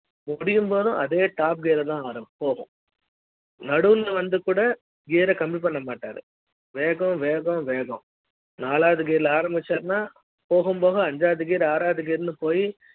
முடியும் போதும் அதே top gear தான் போகும் நடுவுல வந்து கூட gear கம்மி பண்ண மாட்டாரு வேகம் வேகம் வேகம் நாளாவது gear ல ஆரம்பிச்சாருன்னா போகும் ஐந்தாவது gear ஆறாவது gear போயி